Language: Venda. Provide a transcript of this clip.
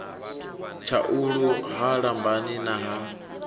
tshaulu ha lambani na ha